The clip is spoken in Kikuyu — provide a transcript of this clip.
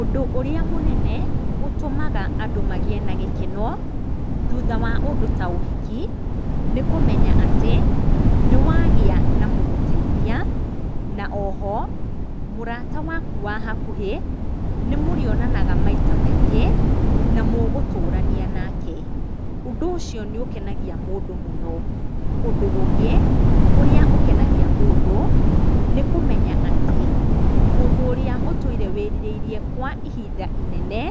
Ũndũ ũrĩa mũnene ũtũmaga andũ magĩe na gĩkeno thutha wa ũndũ ta ũhiki, nĩ kũmenya atĩ, nĩ wagĩa na mũgũgũteithia, na oho mũrata waku wa hakuhĩ nĩ mũrĩonanaga maita maingĩ na mũgũtũrania nake. Ũndũ ũcio nĩ ũkenagia mũndũ mũno. Ũndũ ũngĩ ũrĩa ũkenagia mũndũ nĩ kũmenya atĩ mũndũ ũrĩa ũtũire wĩrireirie kwa ihinda inene